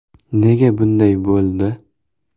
Nega bunday bo‘ldi?